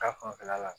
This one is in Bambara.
Ta fanfɛla la